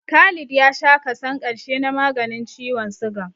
Khalid ya sha kason ƙarshe na maganin ciwon sugan